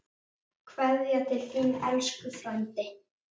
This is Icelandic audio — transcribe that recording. Kveðja til þín, elsku Freddi.